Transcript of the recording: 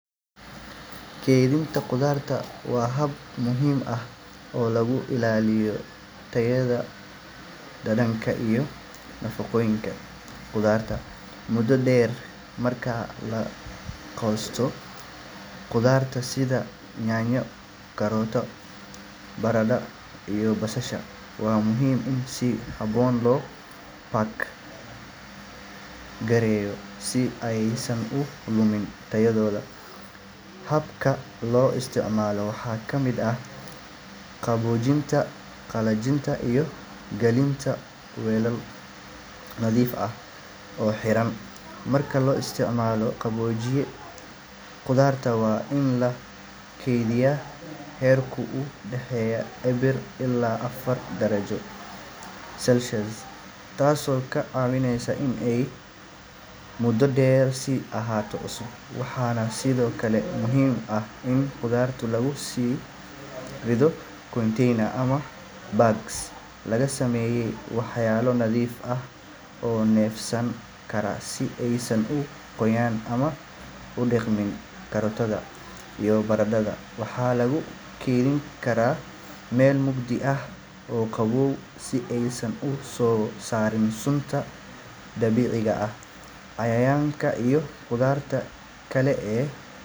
Kaydinta khudaarta waa hab muhiim ah oo lagu ilaaliyo tayada, dhadhanka, iyo nafaqooyinka khudaarta muddo dheer. Marka la goosto khudaarta sida yaanyo, karootada, baradhada, iyo basasha, waa muhiim in si habboon loo pack gareeyo si aysan u lumin tayadooda. Hababka loo isticmaalo waxaa ka mid ah qaboojinta, qalajinta, iyo galinta weelal nadiif ah oo xiran. Marka la isticmaalo qaboojiye, khudaarta waa in lagu kaydiyaa heerkul u dhexeeya eber ilaa afar darajo Celsius, taasoo ka caawinaysa in ay muddo dheer sii ahaato cusub. Waxaa sidoo kale muhiim ah in khudaarta lagu rido containers ama bags laga sameeyay walxo nadiif ah oo neefsan kara si aysan u qoyaan ama u qudhmin. Karootada iyo baradhada waxaa lagu kaydi karaa meel mugdi ah oo qabow si aysan u soo saarin sunta dabiiciga ah. Yaanyada iyo khudaarta kale ee,